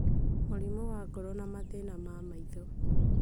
mũrimũ wa ngoro na mathĩna ma maitho.